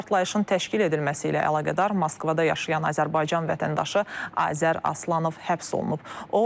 Partlayışın təşkil edilməsi ilə əlaqədar Moskvada yaşayan Azərbaycan vətəndaşı Azər Aslanov həbs olunub.